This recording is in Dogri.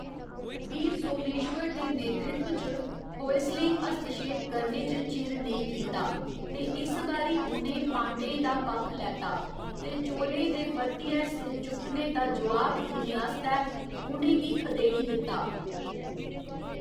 वीर सोमेश्वर दे नेतृत्व च होयसलें हस्तक्षेप करने च चिर नेईं कीता ते इस बारी उ'नें पांड्यें दा पक्ख लैता ते चोलें दे परतियै सिर चुक्कने दा जोआब देने आस्तै उ'नें गी खदेड़ी दित्ता।